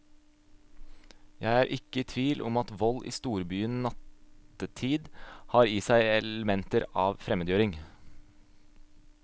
Jeg er ikke i tvil om at vold i storbyen nattetid har i seg elementer av fremmedgjøring.